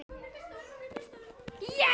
Þetta er einum of,